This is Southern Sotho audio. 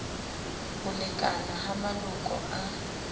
ho lekana ha maloko a